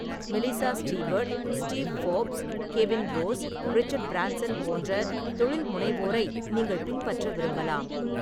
மெலிசா Stewart, Steve Forbes, Kevin Rose, Richard Branson போன்ற தொழில்முனைவோரை நீங்கள் பின்பற்ற விரும்பலாம்.